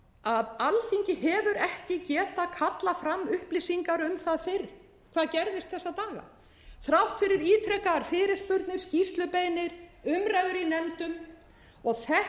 dapurlegt að alþingi hefur ekki getað kallað fram upplýsingar um það fyrr hvað gerðist þessa daga þrátt fyrir ítrekaðar fyrirspurnir skýrslubeiðnir umræður í nefndum og þetta er